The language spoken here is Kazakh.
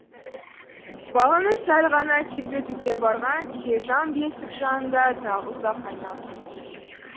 баланы сәл ғана тербетуге барған телжан бесік жанында тағы ұзақ айналған